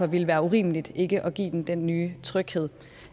ville være urimeligt ikke at give dem den nye tryghed